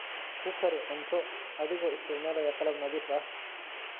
Ku kari cunto adigoo isticmaalaya qalab nadiif ah.